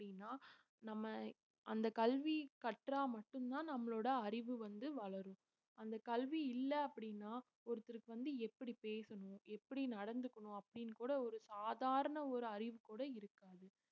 அப்படின்னா நம்ம அந்த கல்வி கற்றா மட்டும்தான் நம்மளோட அறிவு வந்து வளரும். அந்த கல்வி இல்லை அப்படின்னா ஒருத்தருக்கு வந்து எப்படி பேசணும் எப்படி நடந்துக்கணும் அப்படின்னு கூட ஒரு சாதாரண ஒரு அறிவு கூட இருக்காது